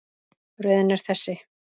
Röðin er þessi